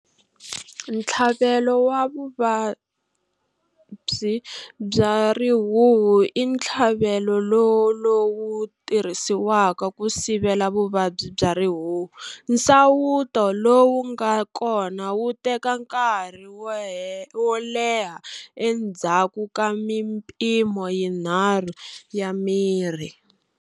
Ntlhavelo wa vuvabyi bya rihuhu i ntlhavelolowu tirhisiwaka ku sivela vuvabyi bya rihuhu. Nsawuto lowu nga kona wu teka nkarhi wo leha endzhaku ka mimpimo yinharhu ya mirhi.